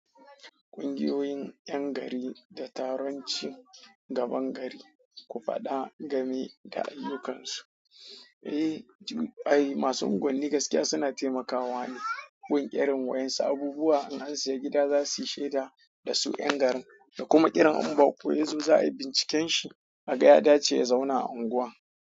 Ƙungiyoyin 'yan gari da taron cin gaban gari, ku faɗa game da ayyukansu. Eh, ai masu unguwanni gaskiya suna taimakawa ne. Gun ƙiran wa'yan su, abubuwa in asiya gida zasuyi shaida da su 'yan garin da kuma ƙiran in bako yazo za'a yi binciken shi a ga ya dace ya zauna a unguwan.